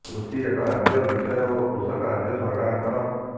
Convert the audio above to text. କୃଷି ଏକ ରାଜ୍ୟ ବିଷୟ ଓ କୃଷକ ରାଜ୍ୟ ସରକାରଙ୍କର